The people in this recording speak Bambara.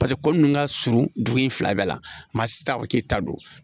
Paseke ko nunnu ka surun dugu in fila bɛɛ la sisan u k'i ta don